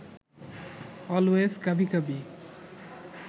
always কাভি কাভি